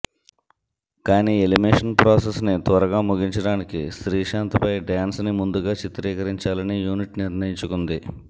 కానీ elimination process ని త్వరగా ముగించడానికి శ్రీశాంత్ పై డాన్స్ ని ముందుగా చిత్రీకరించాలని యూనిట్ నిర్ణయించుకుంది